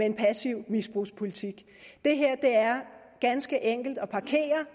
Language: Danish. en passiv misbrugspolitikken det her er ganske enkelt at parkere